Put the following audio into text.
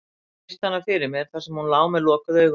Ég virti hana fyrir mér, þar sem hún lá með lokuð augun.